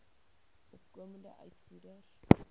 opkomende uitvoerders